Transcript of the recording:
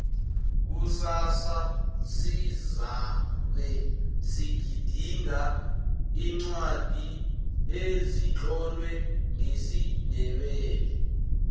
kusasa sizabe sigidinga iincwadi ezitlolwe ngesindebele